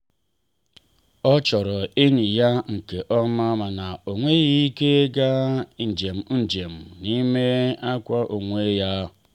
ọ chọrọ enyi ya nke ọma mana ọ nweghị ike ịga njem njem n'ihi nkwa onwe ya.